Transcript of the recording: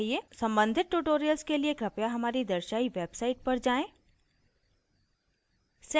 सम्बंधित tutorials के लिए कृपया हमारी दर्शायी website पर जाएँ: